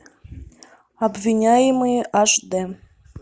обвиняемые аш дэ